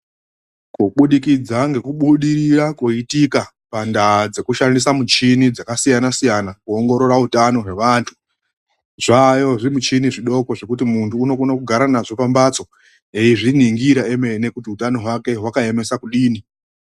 Kubudikidza ngekubudirira koitika pandaa dzekushandisa muchini dzakasiyanasiyana kuongorora utano hwevantu, zvaayo zvimuchini zvidoko zvekuti muntu unokona kugara nazvo pambatso eizviningira emene kuti utano hwake hwakaemesa kudini.